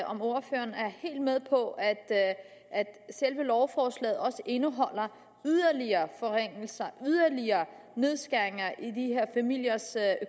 om ordføreren er helt med på at selve lovforslaget indeholder yderligere forringelser yderligere nedskæringer i de her familiers